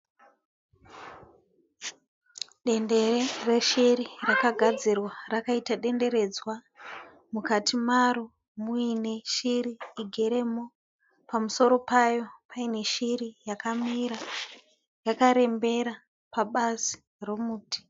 Dendere reshiri rakagadzirwa rakaita denderedzwa. Mukati maro muine shiri igeremo pamusoro payo paine shiri yakamira yakarembera pabazi romuti.